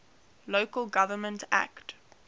local government act